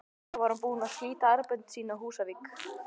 Þá var hún búin að slíta sambönd sín á Húsavík.